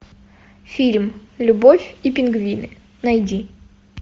фильм любовь и пингвины найди